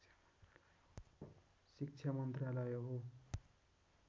शिक्षा मन्त्रालय हो